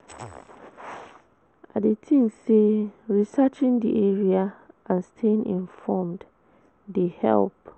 I dey think say researching di area and staying informed dey help.